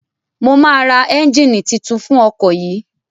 Mo máa ra ẹ́njíìnì titun fún ọkọ̀ yìí.